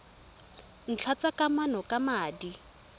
ntlha tsa kamano ka madi